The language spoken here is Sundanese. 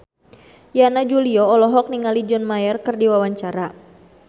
Yana Julio olohok ningali John Mayer keur diwawancara